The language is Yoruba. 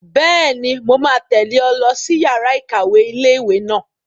Bẹ́ẹ̀ni, mo máa tẹ̀lé ọ lọ sí yàrá-ìkàwé ilé-ìwé náà